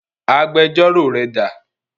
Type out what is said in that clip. Agbẹjọ́rò rẹ dà?